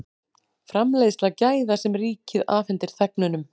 Framleiðsla gæða sem ríkið afhendir þegnunum